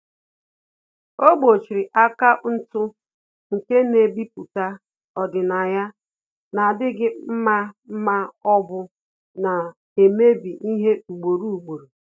Ọ́ gbòchìrì akaụntụ nke nà-èbípụ́tá ọ́dị́nàya nà-ádị́ghị́ mma ma ọ́ bụ nà-èmébi ihe ugboro ugboro.